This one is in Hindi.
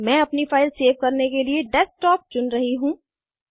मैं अपनी फाइल सेव करने के लिए डेस्कटॉप चुन रही हूँ